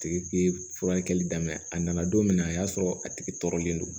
Tigi tɛ furakɛli daminɛ a nana don min na a y'a sɔrɔ a tigi tɔɔrɔlen don